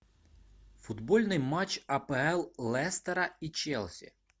футбольный матч апл лестера и челси